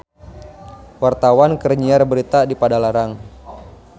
Wartawan keur nyiar berita di Padalarang